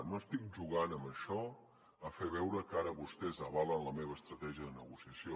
no estic jugant amb això a fer veure que ara vostès avalen la meva estratègia de negociació